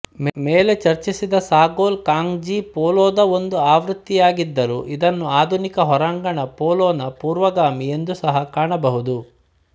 ಮೇಲೆ ಚರ್ಚಿಸಿದ ಸಾಗೋಲ್ ಕಾಂಗ್ಜೀ ಪೋಲೊದ ಒಂದು ಆವೃತ್ತಿಯಾಗಿದ್ದರೂ ಇದನ್ನು ಆಧುನಿಕ ಹೊರಾಂಗಣ ಪೋಲೊನ ಪೂರ್ವಗಾಮಿ ಎಂದು ಸಹ ಕಾಣಬಹುದು